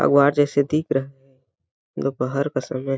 अगवार जैसे दिख रहा दोपहर का समय --